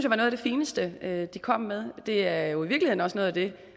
var noget af det fineste de kom med det er jo i virkeligheden også noget af det